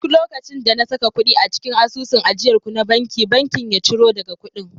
duk lokacin da na saka kudi a cikin asusun ajiyar ku na banki, bankin ya ciro daga kudin